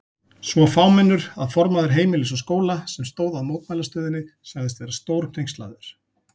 Svo fámennur að formaður Heimilis og Skóla, sem stóð að mótmælastöðunni sagðist vera stórhneykslaður.